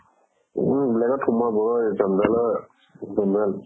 উম এইবিলাক সুমোৱা বৰ জঞ্জালৰ